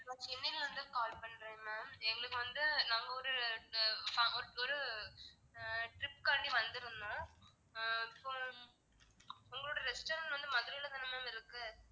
நான் சென்னைல இருந்து call பண்றேன் ma'am எங்களுக்கு வந்து நாங்க ஒரு அஹ் ஒரு ஆஹ் trip காண்டி வந்திருந்தோம் ஆஹ் so உங்களோட restaurant வந்து மதுரைல தானே ma'am இருக்கு?